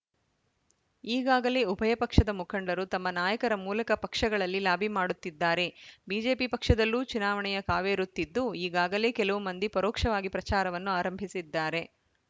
ಈಗಾಗಲೇ ಉಭಯ ಪಕ್ಷದ ಮುಖಂಡರು ತಮ್ಮ ನಾಯಕರ ಮೂಲಕ ಪಕ್ಷಗಳಲ್ಲಿ ಲಾಭಿ ಮಾಡುತ್ತಿದ್ದಾರೆ ಬಿಜೆಪಿ ಪಕ್ಷದಲ್ಲೂ ಚುನಾವಣೆಯ ಕಾವೇರುತ್ತಿದ್ದು ಈಗಾಗಲೇ ಕೆಲವು ಮಂದಿ ಪರೋಕ್ಷವಾಗಿ ಪ್ರಚಾರವನ್ನು ಆರಂಭಿಸಿದ್ದಾರೆ